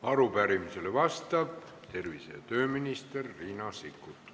Arupärimisele vastab tervise- ja tööminister Riina Sikkut.